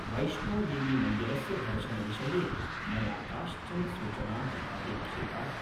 वैष्णोदेवीमन्दिरस्य दर्शनविषये मया काश्चन सूचनाः अपेक्षिताः।